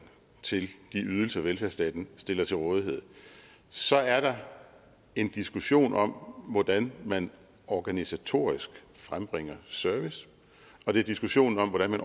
til de ydelser velfærdsstaten stiller til rådighed så er der en diskussion om hvordan man organisatorisk frembringer service og det er diskussionen om hvordan man